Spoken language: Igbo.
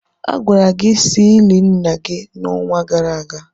A gwara gị si ili nna gị n'onwa gara aga.